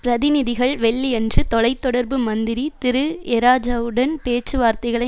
பிரதிநிதிகள் வெள்ளியன்று தொலை தொடர்பு மந்திரி திரு ஏராஜாவுடன் பேச்சுவார்த்தைகளை